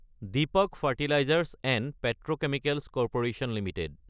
Deepak fertilisers & petrochemicals corp Ltd